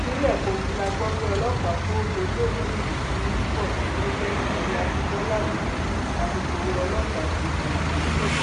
ìpínlẹ kogi la gbọ pé ọlọpàá tó dolóògbé yìí ti ń bọ gẹgẹ bí abimọlá oyeyèmí alukoro ọlọpàá ṣe ṣàlàyé